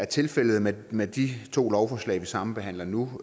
tilfældet med med de to lovforslag vi sambehandler nu